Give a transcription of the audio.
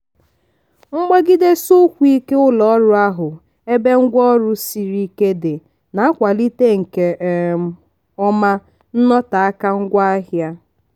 mgbagidesi ụkwụ ike ụlọ orụ ahụ ebe ngwa ọrụ siri ike dị na-akwalite nke um ọma nnọteaka ngwaahịa.